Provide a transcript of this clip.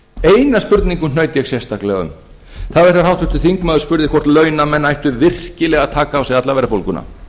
eina spurningu hnaut ég sérstaklega um það var þegar háttvirtur þingmaður spurði hvort launamenn ættu virkilega að taka á sig alla verðbólguna